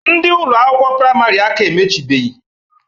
Ndị Ụlọ akwụkwọ praịmarị aka emechibeghi.